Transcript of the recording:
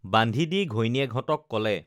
বান্ধি দি ঘৈণীয়েকহঁতক কলে